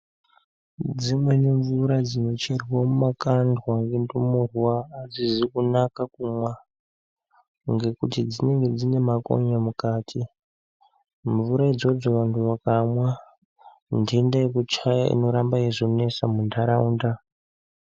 Dzimweni mvura dzinocherwa mumakandwa ngendumurwa, adzizi kunaka kumwa ,ngekuti dzinenge dzine makonye mukati. Mvura idzodzo vantu vakamwa, ntenda yekuchaya inozoramba yeizonesa muntaraunda.